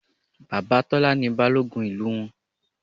Bàbá Tọ́lá ni Balógun ìlú wọn